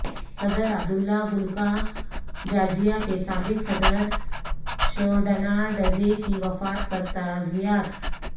صدر Abdullah Gul کا Georgia کے سابق صدر شورڈناڈزےکی وفات پر تعزیت